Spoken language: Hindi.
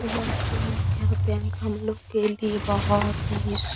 यह बैंक यहाँ पे हम लोग के लिए बहुत ही सु --